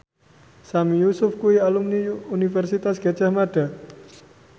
Sami Yusuf kuwi alumni Universitas Gadjah Mada